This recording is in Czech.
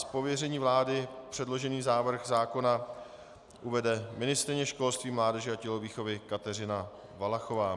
Z pověření vlády předložený návrh zákona uvede ministryně školství, mládeže a tělovýchovy Kateřina Valachová.